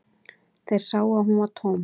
Þeir sáu að hún var tóm.